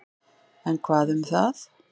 En, hvað um það.